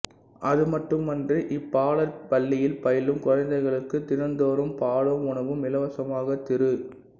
அதுமட்டுமின்றி இப்பாலர் பள்ளியில் பயிலும் குழந்தைகளுக்குத் தினந்தோறும் பாலும் உணவும் இலவசமாக திரு